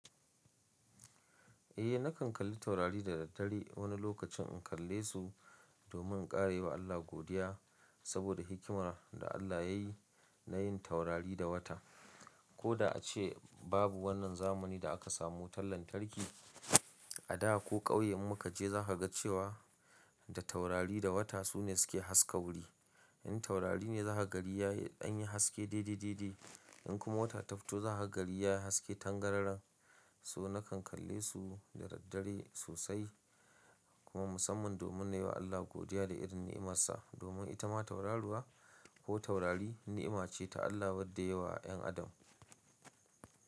Eh nakan kalli taurari da daddare wani lokacin in kalle su domin kara yi wa Allah godiya saboda hikimar da Allah yayi na yin taurari da wata. Ko da a ce babu wannan zamani da aka samu wutan lantarki, a da ko ƙauye muka je za ka ga cewa da taurari da wata sune su ke haska wuri. In taurari ne za ka ga gari ya yi haske dai-dai dai-dai, in kuma wata ta fito za ka ga gari ya haske tangararen, so nakan kalle su da daddare sosai kuma musamman domin na yi wa Allah godiya da irin nimarsa. Domin ita ma tauraruwa ko taurari ni'ima ce ta Allah wadda ya yi wa 'yan Adam.